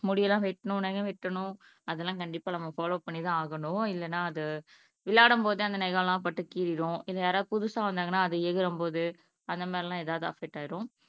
முடி எல்லாம் வெட்டணும் நகம் வெட்டணும் அது எல்லாம் நம்ம கண்டிப்பா ஃபாலோ பண்ணி தான் ஆகணும் இல்லேனா அது விளையாடும்போது அந்த நகம் எல்லாம் பட்டு கீரிரும் யாராவது புதுசா வந்தாங்கன்னா அது எகிறும்போது அந்த மாதிரி எல்லாம் அஃபெக்ட் ஆயிரும்